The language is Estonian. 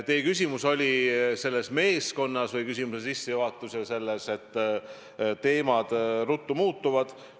Teie küsimus oli selle meeskonna kohta või küsimuse sissejuhatus oli selle kohta, et teemad ruttu muutuvad.